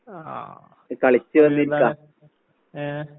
ആഹ് ഏ?